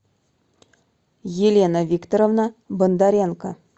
елена викторовна бондаренко